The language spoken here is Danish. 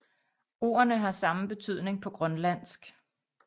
Ordene har samme betydning på grønlandsk